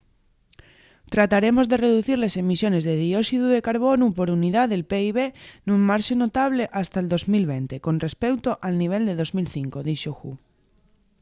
trataremos de reducir les emisiones de dióxidu de carbonu por unidá del pib nun marxe notable hasta’l 2020 con respeuto al nivel de 2005,” dixo hu